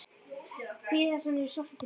Bíða þess að hann yrði sóttur til mín?